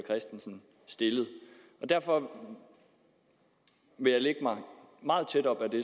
christensen stillede derfor vil jeg lægge mig meget tæt op ad det